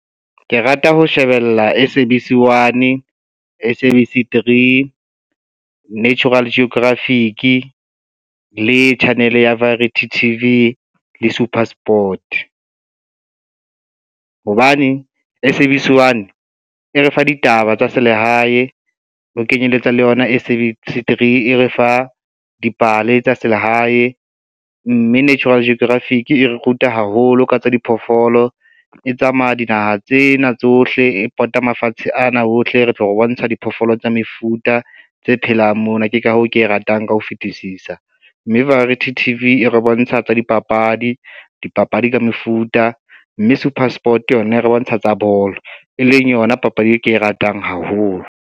Ke rata ho shebella S_A_B_C one, S_A_B_C three, Natural Geographic le channel ya Variety T_V le Supersport. Hobane S_A_B_C one e re fa ditaba tsa selehae ho kenyeletsa le yona S_A_B_C three e re fa dipale tsa selehae, mme Natural Geographic e re ruta haholo ka tsa diphoofolo, e tsamaya dinaha tsena tsohle e pota mafatshe ana ohle ho tlo re bontsha diphoofolo tsa mefuta tse phelang mona ke ka hoo ke e ratang ka ho fetisisa, mme Variety T_V e re bontsha tsa dipapadi, dipapadi ka mefuta, mme Supersport yona e re bontsha tsa bolo, e leng yona papadi e ke e ratang haholo.